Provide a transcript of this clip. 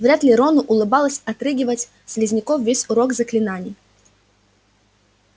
вряд ли рону улыбалось отрыгивать слизняков весь урок заклинаний